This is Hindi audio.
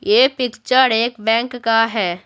ये पिक्चर एक बैंक का है।